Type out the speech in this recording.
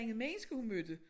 Andre mennesker hun mødte